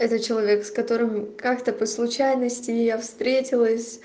это человек с которым как то по случайности я встретилась